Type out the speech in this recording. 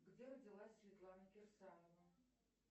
где родилась светлана кирсанова